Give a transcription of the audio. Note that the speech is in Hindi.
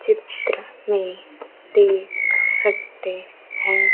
चित्र में देख सकते हैं।